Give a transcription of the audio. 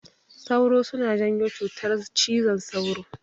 Sauro suna janyo cutar cizon sauro.